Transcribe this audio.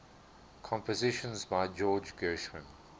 compositions by george gershwin